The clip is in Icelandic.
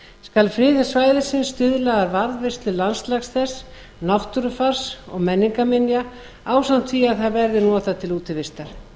skal friðun svæðisins stuðla að varðveislu landslags þess náttúrufars og menningarminja ásamt því að það verði notað til útivistar